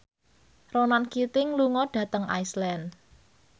Ronan Keating lunga dhateng Iceland